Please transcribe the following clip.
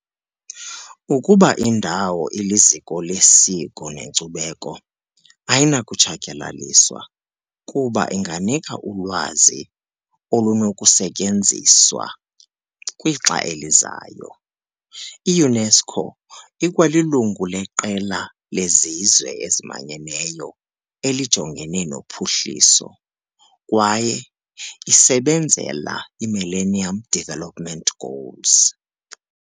Ukuba indawo iliZiko lesiko neNkcubeko, ayinakutshatyalaliswa, kuba inganika ulwazi olunokusetyenziswa kwixa elizayo. I-UNESCO ikwalilungu leQela leZizwe eziManyeneyo elijongene nophuhliso. kwaye isebenzeka i-Millennium Development Goals.